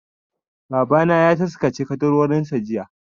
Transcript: Babana ya taskace ƙaddarorinsa jiya.